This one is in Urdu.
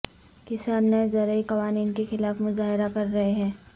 کسان نئے زرعی قوانین کے خلاف مظاہرہ کر رہے ہیں